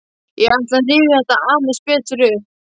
Ég ætla að rifja þetta aðeins betur upp.